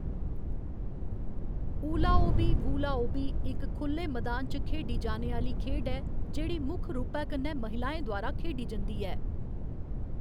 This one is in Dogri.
ऊलाओबी, वू लाओबी, इक खु'ल्ले मदान च खेढी जाने आह्‌ली खेढ ऐ जेह्‌‌ड़ी मुक्ख रूपै कन्नै महिलाएं द्वारा खेढी जंदी ऐ।